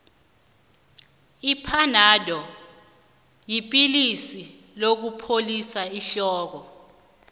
iphanado yipilisi lokupholisa ihloko